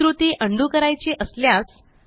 हि कृती उंडो करायची असल्यास